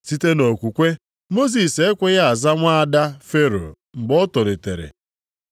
Site nʼokwukwe, Mosis e kweghị aza nwa ada Fero mgbe o tolitere.